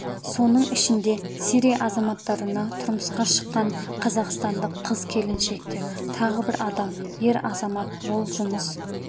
соның ішінде сирия азаматтарына тұрмысқа шыққан қазақстандық қыз-келіншектер тағы бір адам ер азамат ол жұмыс